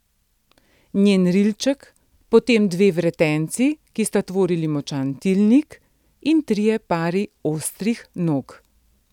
Njen rilček, potem dve vretenci, ki sta tvorili močan tilnik, in trije pari ostrih nog.